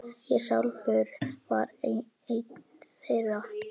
Ég sjálfur var einn þeirra.